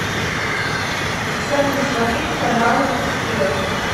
салют смотреть каналы успех